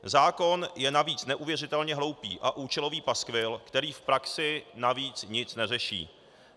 Zákon je navíc neuvěřitelně hloupý a účelový paskvil, který v praxi navíc nic neřeší.